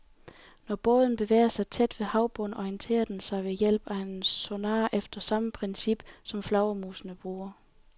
Når båden bevæger sig tæt ved havbunden, orienterer den sig ved hjælp af en sonar efter samme princip, som flagermusene bruger.